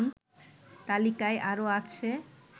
তালিকায় আরও আছে